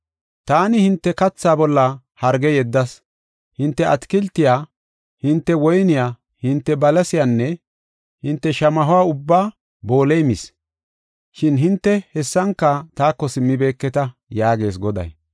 “Taani hinte kathaa bolla harge yeddas; hinte atakiltiya, hinte woyniya hinte balasiyanne hinte shamaho ubbaa booley mis; shin hinte hessanka taako simmibeketa” yaagees Goday.